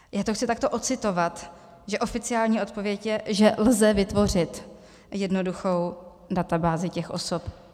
Já to chci takto odcitovat, že oficiální odpověď je, že lze vytvořit jednoduchou databázi těch osob.